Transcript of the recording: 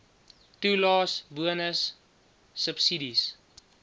toelaes bonusse subsidies